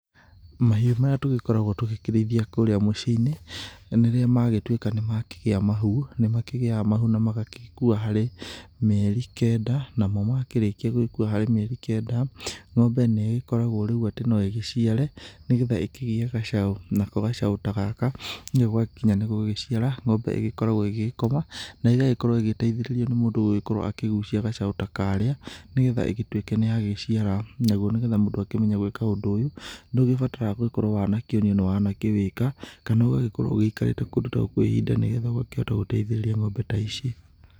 Mahiũ marĩa tũgĩkoragwo tũgĩkĩrĩithia kũrĩa mũciĩ-inĩ, rĩrĩa magĩtuĩka nĩmakĩgĩa mahu, nĩ makĩgĩaga mahu ma magagĩkua harĩ mĩeri kenda. Namo makĩrĩkia gũgĩkua harĩ mĩeri kenda, ng'ombe nĩ ĩgĩkoragwo rĩu atĩ no ĩgĩciare, nĩgetha ĩkĩgĩe gacaũ. Nako gacaũ ta gaka gwakinya nĩ gũgĩciara ng'ombe nĩ ĩgĩkoragwo ĩgĩgĩkoma na ĩgagĩkorwo ĩgĩgĩteithĩrĩrio nĩ mũndũ ũgũgĩkorwo akĩgucia gacaũ ta karĩa, nĩgetha ĩgĩtuĩke nĩ yagĩciara. Naguo nĩgetha mũndũ akĩmenye gwĩka ũndũ ũyũ, nĩ ũgĩbataraga gũgĩkorwo wanakĩonio na wanakĩwĩka kana ũgagĩkorwo ũgĩikarĩte kũndũ ta gũkũ ihinda, nĩgetha ũgakĩhota guteithĩrĩria ng'ombe ta ici.